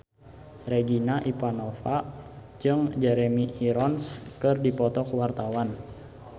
Regina Ivanova jeung Jeremy Irons keur dipoto ku wartawan